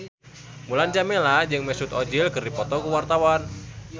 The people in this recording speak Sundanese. Mulan Jameela jeung Mesut Ozil keur dipoto ku wartawan